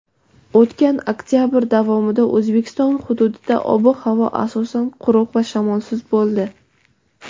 O‘tgan oktyabr davomida O‘zbekiston hududida ob-havo asosan quruq va shamolsiz bo‘ldi.